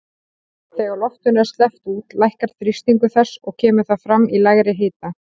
Þegar loftinu er sleppt út lækkar þrýstingur þess og kemur það fram í lægri hita.